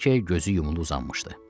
Brike gözü yumulu uzanmışdı.